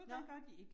Nåh